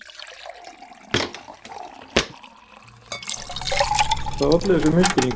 Hvað olli þessum misskilningi?